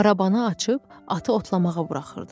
Arabanı açıb atı otlamağa buraxırdılar.